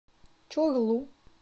чорлу